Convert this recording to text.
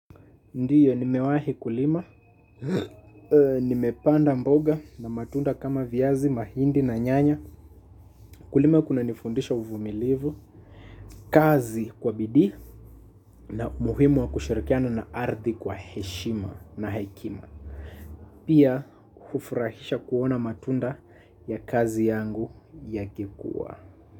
Ndiyo, nimewahi kulima, nimepanda mboga na matunda kama viazi, mahindi na nyanya. Kulima kunanifundisha uvumilivu, kazi kwa bidii na umuhimu wa kushirikiana na ardhi kwa heshima na hekima. Pia, hufurahisha kuona matunda ya kazi yangu yakikua.